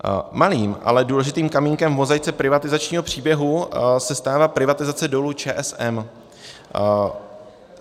Malým, ale důležitým kamínkem v mozaice privatizačního příběhu se stala privatizace Dolu ČSM.